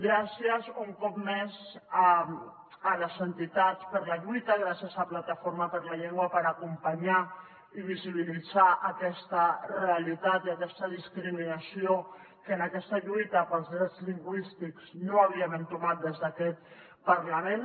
gràcies un cop més a les entitats per la lluita gràcies a plataforma per la llengua per acompanyar i visibilitzar aquesta realitat i aquesta discriminació que en aquesta lluita pels drets lingüístics no havíem entomat des d’aquest parlament